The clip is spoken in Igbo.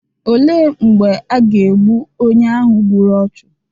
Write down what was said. olee mgbe a ga-egbu onye ahụ gburu ọchụ?